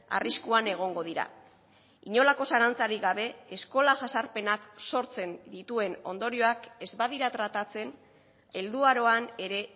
arriskuan egongo dira inolako zalantzarik gabe eskola jazarpenak sortzen dituen ondorioak ez badira tratatzen helduaroan ere